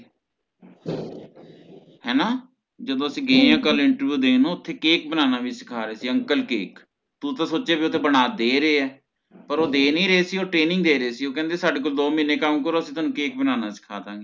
ਹੇਨਾ ਜਦੋ ਅਸੀਂ ਕਲ ਗਏ ਆ Interview ਦੇਣ ਓਥੇ Cake ਬਨਾਨਾ ਵੀ ਸਿੱਖਾਂ ਰਹੇ ਸੀ Ankle cake ਤੂੰ ਤਾ ਸੋਚਿਆ ਵੀ ਉਥੇ ਬਣਾ ਤੇ ਦੇ ਰਹੇ ਹੈ ਪਰ ਉਹ ਦ ਨਹੀਂ ਰਹੇ ਸੀ ਉਹ Training ਦੇ ਰਹੇ ਸੀ ਉਹ ਕਹਿੰਦੇ ਸਾਡੇ ਕੋਲ ਦੋ ਮਹੀਨੇ ਕੰਮ ਕਰੋ ਅਸੀਂ ਤੁਹਾਨੂੰ Cake ਬਨਾਨਾ ਸਿੱਖਾਂ ਦੇਣਗੇ